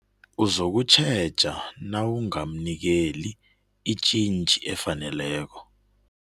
Uzokutjheja nawungamnikeli itjintjhi efaneleko.